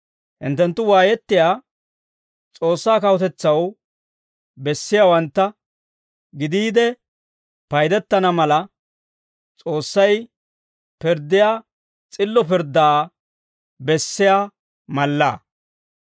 Hinttenttu waayettiyaa S'oossaa kawutetsaw bessiyaawantta gidiide paydettana mala, S'oossay pirddiyaa s'illo pirddaa bessiyaa mallaa.